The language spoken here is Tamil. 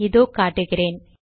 இதோ காட்டுகிறேன்